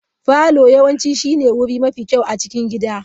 Parlour yawanci shine wuri mafi kyau a cikin gida.